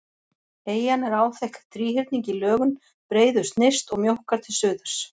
Eyjan er áþekk þríhyrningi í lögun, breiðust nyrst og mjókkar til suðurs.